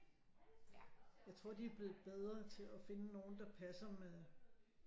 Jeg tror de er blevet bedre til at finde nogle der passer med